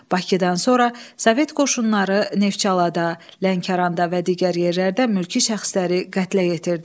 Bakıdan sonra Sovet qoşunları Neftçalada, Lənkəranda və digər yerlərdə mülki şəxsləri qətlə yetirdi.